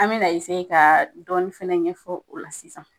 An me na ka dɔɔni fana ɲɛfɔ o la sisan.